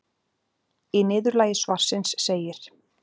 Í niðurlagi svarsins segir: